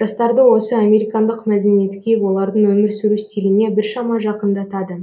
жастарды осы американдық мәдениетке олардың өмір сүру стиліне біршама жақындатады